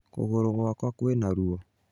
Kũgũrũgwakwa kwĩna ruo